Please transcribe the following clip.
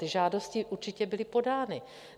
Ty žádosti určitě byly podány.